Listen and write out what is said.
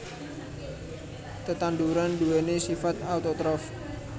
Tetanduran nduwèni sifat autotrof